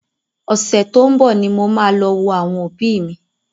Ọ̀sẹ̀ tó ń bọ ni mo máa lọ wo àwọn òbí mi.